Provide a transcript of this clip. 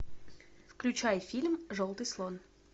включай фильм желтый слон